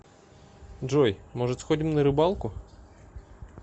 джой может сходим на рыбалку